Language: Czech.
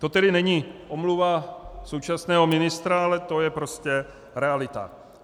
To tedy není omluva současného ministra, ale to je prostě realita.